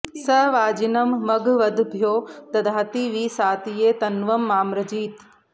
स वा॒जिनं॑ म॒घव॑द्भ्यो दधाति॒ वि सा॒तये॑ त॒न्वं॑ मामृजीत